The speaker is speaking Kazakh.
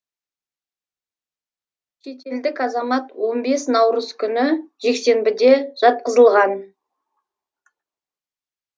шетелдік азамат он бес наурыз күні жексенбіде жатқызылған